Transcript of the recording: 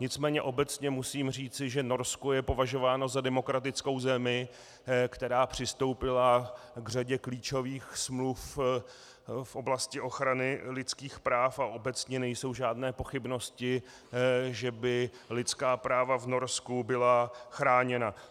Nicméně obecně musím říci, že Norsko je považováno za demokratickou zemi, která přistoupila k řadě klíčových smluv v oblasti ochrany lidských práv, a obecně nejsou žádné pochybnosti, že by lidská práva v Norsku byla chráněna.